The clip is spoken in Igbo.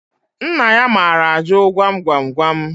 Nna ya maara ajụ gwam gwam gwam